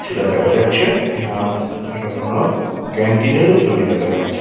সেটা দেখা যাচ্ছে এবং এটা কোনো ক্যান্টিনের ও ছবি দেখা যাচ্ছে।